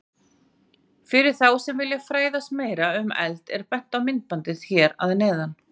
Fyrir þá sem vilja fræðast meira um eld er bent á myndbandið hér að neðan.